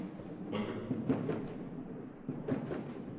Rynkeby